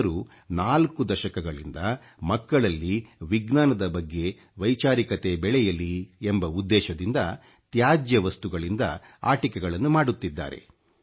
ಅವರು 4 ದಶಕಗಳಿಂದ ಮಕ್ಕಳಲ್ಲಿ ವಿಜ್ಞಾನದ ಬಗ್ಗೆ ವೈಚಾರಿಕತೆ ಬೆಳೆಯಲಿ ಎಂಬ ಉದ್ದೇಶದಿಂದ ತ್ಯಾಜ್ಯ ವಸ್ತುಗಳಿಂದ ಆಟಿಕೆಗಳನ್ನು ಮಾಡುತ್ತಿದ್ದಾರೆ